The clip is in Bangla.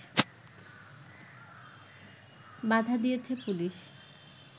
বাধা দিয়েছে পুলিশ